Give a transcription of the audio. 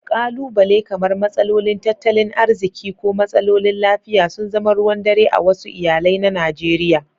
Ƙalubale kamar matsalolin tattalin arziki ko matsalolin lafiya sun zama ruwan dare a wasu iyalai na Najeriya.